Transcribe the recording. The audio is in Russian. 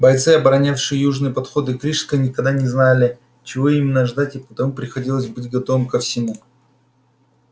бойцы оборонявшие южные подходы к рижской никогда не знали чего именно ждать и потому приходилось быть готовыми ко всему